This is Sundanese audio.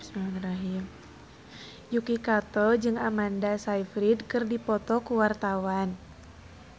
Yuki Kato jeung Amanda Sayfried keur dipoto ku wartawan